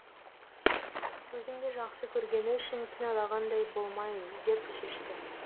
өзімді жақсы көргені үшін кіналағандай болмайын деп шешті